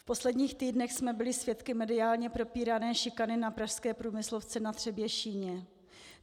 V posledních týdnech jsme byli svědky mediálně propírané šikany na pražské průmyslovce Na Třebešíně.